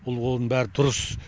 ол оның бәрі дұрыс